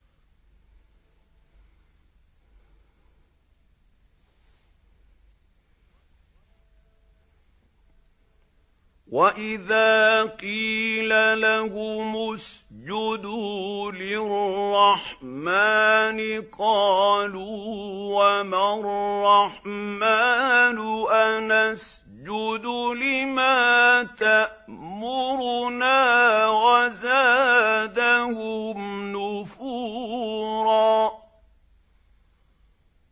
وَإِذَا قِيلَ لَهُمُ اسْجُدُوا لِلرَّحْمَٰنِ قَالُوا وَمَا الرَّحْمَٰنُ أَنَسْجُدُ لِمَا تَأْمُرُنَا وَزَادَهُمْ نُفُورًا ۩